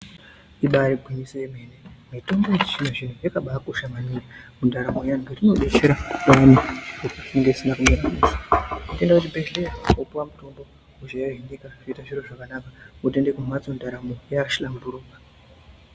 Ibaari gwinyiso remene mene mitombo yechizvino-zvino yakabaakosha maningi mundaramo yevantu. Inodetsera vantu zvinhu zvisina kumira mushe. Unoenda kuchibhedhlera wopuwa mutombo zviro zvotoite zvakanaka wodzokera kumhatso ndaramo yahlamburuka.